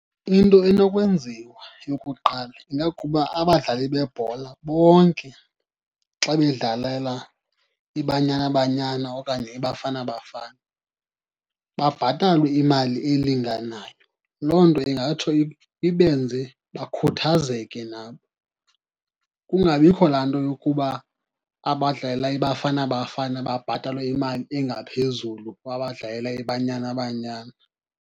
Into enokwenziwa yokuqala ingakuba abadlali bebhola bonke xa bedlalela iBanyana Banyana okanye iBafana Bafana babhatalwe imali elinganayo. Loo nto ingatsho ibenze bakhuthazeke nabo. Kungabikho laa nto yokuba abadlalela iBafana Bafana babhatalwe imali engaphezulu kwabadlalela iBanyana Banyana.